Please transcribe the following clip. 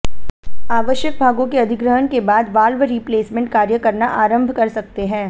आवश्यक भागों के अधिग्रहण के बाद वाल्व रिप्लेसमेंट कार्य करना आरंभ कर सकते हैं